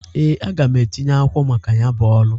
Ee, aga m etinye akwụkwọ maka ya bụ ọrụ.